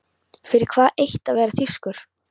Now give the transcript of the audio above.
Fyrir það eitt að vera þýskur.